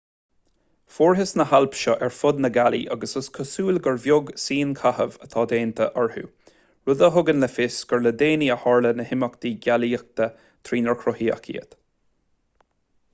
fuarthas na hailp seo ar fud na gealaí agus is cosúil gur beag síonchaitheamh atá déanta orthu rud a thugann le fios gur le déanaí a tharla na himeachtaí geolaíochta trínar cruthaíodh iad